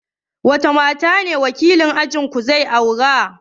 Wace ce matar da wakilin ajinku zai aura?